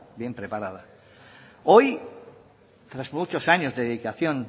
hoy tras muchos años de dedicación